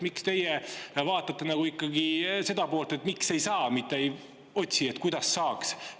Miks teie vaatate ikkagi seda poolt, miks ei saa, mitte ei otsi, kuidas saaks?